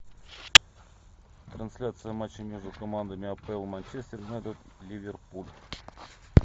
трансляция матча между командами апл манчестер юнайтед ливерпуль